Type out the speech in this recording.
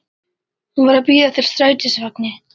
Hún var að bíða eftir strætisvagni.